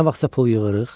Nə vaxtsa pul yığırıq.